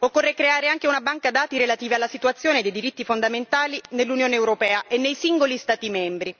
Occorre creare anche una banca dati relativa alla situazione dei diritti fondamentali nell'Unione europea e nei singoli Stati membri